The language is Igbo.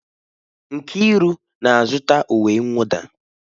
Nkiru na-azụta uwe mwụda.